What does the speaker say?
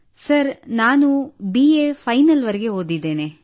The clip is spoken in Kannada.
ಸರ್ ನಾನು ಬಿಎ ಫೈನಲ್ ವರೆಗೆ ಓದಿದ್ದೇನೆ